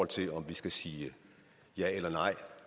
til om vi skal sige ja eller nej